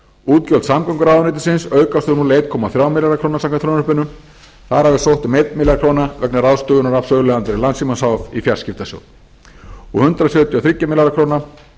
útgjöld samgönguráðuneytisins aukast um einn komma þrjá milljarða króna samkvæmt frumvarpinu þar af er sótt um eina milljón króna vegna ráðstöfunar af söluandvirði landssímans h f í fjarskiptasjóð hundrað sjötíu og þrjár milljónir króna